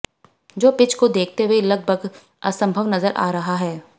जो पिच को देखते हुए लगभगद असंभव नजर आ रहा है